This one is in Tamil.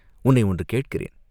உன்னை ஒன்று கேட்கிறேன்.